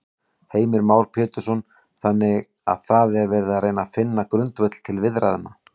Heimir Már Pétursson: Þannig að það er verið að reyna finna grundvöll til viðræðna?